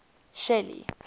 shelly